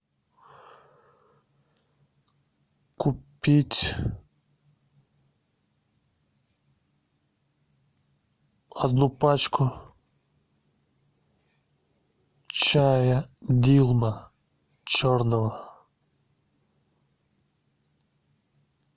купить одну пачку чая дилма черного